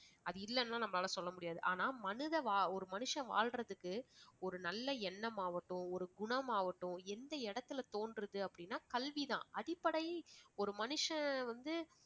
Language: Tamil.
அது இல்லேன்னா நம்மளால சொல்ல முடியாது. ஆனா மனிதவா~ ஒரு மனுஷன் வாழறதுக்கு ஒரு நல்ல எண்ணமாகட்டும் ஒரு குணமாகட்டும் எந்த இடத்தில தோன்றுது அப்படின்னா கல்விதான். அடிப்படையில் ஒரு மனுஷன் வந்து